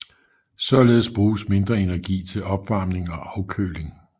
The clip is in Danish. Således bruges mindre energi til opvarmning og afkøling